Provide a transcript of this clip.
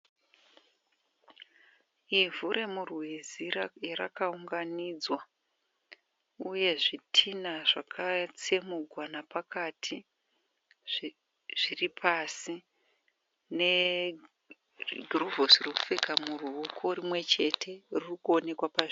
Ivhu remurwizi rakaunganidzwa uye zvitinha zvakatsemugwa nepakati zviripasi. Ne girovhosi rekupfeka muruoko rimwechete ririkuoneka pazvitinha.